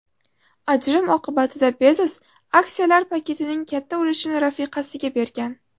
Ajrim oqibatida Bezos aksiyalar paketining katta ulushini rafiqasiga bergan.